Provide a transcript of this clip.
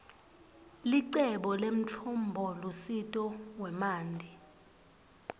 licebo lemtfombolusito wemanti